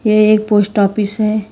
ये एक post office है।